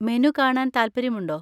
Menu കാണാൻ താല്പര്യമുണ്ടോ?